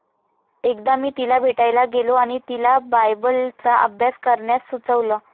एकदा मी तिला भेटायला गेलो आणि तिला बायबलचा अभ्यास करण्यास सुचवलं.